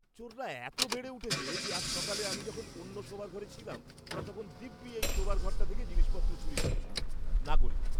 চোররা এত বেড়ে উঠেছে যে আজ সকালে আমি যখন অন্য শোবার ঘরে ছিলাম ওরা তখন দিব্যি এই শোবার ঘরটা থেকে জিনিসপত্র চুরি করেছে! নাগরিক